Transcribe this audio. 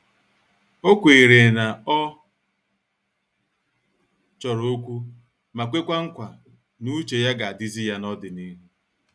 O kweere na ọ chọrọ okwu ma kwekwa nkwa n'uche ya ga-adizi ya na n'ọdịnihu.